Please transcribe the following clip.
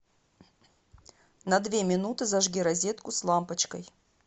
на две минуты зажги розетку с лампочкой